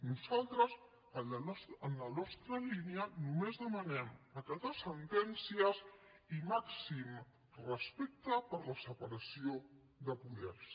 nosaltres en la nostra línia només demanem acatar sentències i màxim respecte per la separació de poders